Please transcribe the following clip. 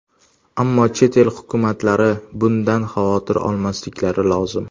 Ammo chet el hukumatlari bundan xavotir olmasliklari lozim.